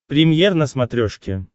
премьер на смотрешке